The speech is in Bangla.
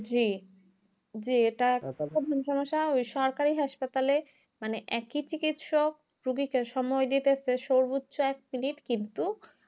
জি জি এটা একটা সমস্যা ওই সরকারি হাসপাতালে মানে একই চিকিৎসক রুগীকে সময় দিতেছে সর্বোচ্চ এক minute কিন্তু